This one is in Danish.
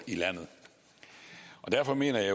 i landet derfor mener jeg